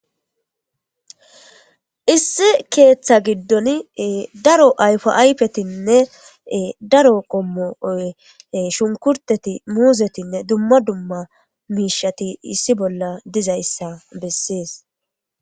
issi keeththa giddon daro ayfo aypetinne daro qommo shunkurteti muuzetinne dumma dumma miishshati issi bolla dizayssa bessees